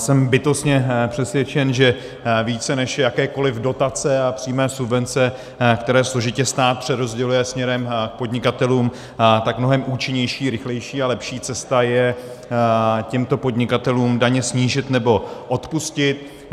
Jsem bytostně přesvědčen, že více než jakékoli dotace a přímé subvence, které složitě stát přerozděluje směrem k podnikatelům, tak mnohem účinnější, rychlejší a lepší cesta je těmto podnikatelům daně snížit nebo odpustit.